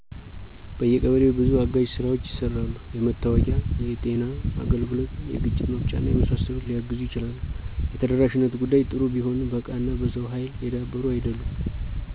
በየቀበሌው በዙ አጋዥ ስራዎች ይሰራሉ። የመታወቂያ፣ የጤና አገልግሎት፣ የግጭት መፍቻና የመሳሰሉት ሊያግዙ ይችላሉ። የተደራሽነት ጉዳይ ጥሩ ቢሆንም በእቃና በሰው ሀይል የዳበሩ አይደሉም።